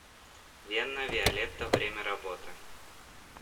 вена виолетта время работы